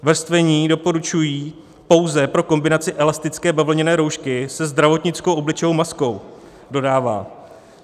Vrstvení doporučují pouze pro kombinaci elastické bavlněné roušky se zdravotnickou obličejovou maskou, dodává.